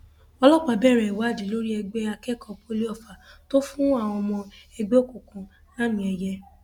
ọlọpàá bẹrẹ ìwádìí lórí ẹgbẹ akẹkọọ poli ofá tó fún àwọn ọmọ ẹgbẹ òkùnkùn lámìẹyẹ